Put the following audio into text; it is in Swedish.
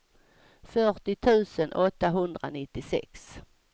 fyrtio tusen åttahundranittiosex